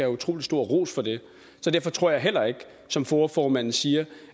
utrolig stor ros for det derfor tror jeg heller ikke som foa formanden siger